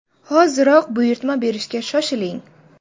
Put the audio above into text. Hoziroq buyurtma berishga shoshiling!.